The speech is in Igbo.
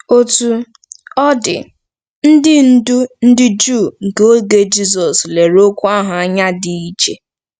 Otú ọ dị, ndị ndú ndị Juu nke oge Jisọs lere okwu ahụ anya dị iche.